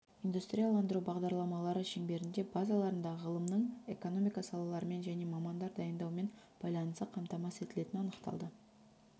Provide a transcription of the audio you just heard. индустрияландыру бағдарламалары шеңберінде базаларында ғылымның экономика салаларымен және мамандар дайындаумен байланысы қамтамасыз етілетіні анықталды